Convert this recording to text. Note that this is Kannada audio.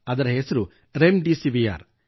ಅದರ ಹೆಸರು ರೆಮ್ ಡೆಸಿವಿರ್